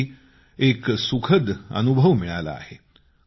तोही एक सुखद अनुभव मिळाला आहे